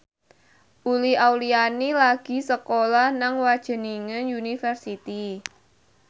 Uli Auliani lagi sekolah nang Wageningen University